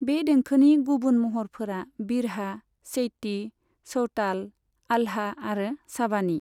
बे देंखोनि गुबुन महरफोरा बिरहा, चैती, चौताल, आल्हा आरो साबानी।